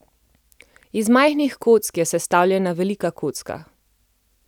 Iz majhnih kock je sestavljena velika kocka.